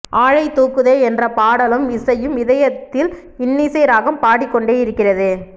ஆளைத் தூக்குதே என்ற பாடலும் இசையும் இதயத்தில் இன்னிசை ராகம் பாடிக் கொண்டே இருக்கிறது